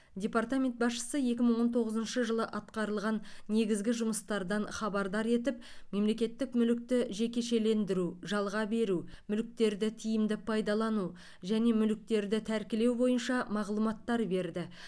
департамент басшысы екі мың он тоғызыншы жылы атқарылған негізгі жұмыстардан хабардар етіп мемлекеттік мүлікті жекешелендіру жалға беру мүліктерді тиімді пайдалану және мүліктерді тәркілеу бойынша мағлұматтар берді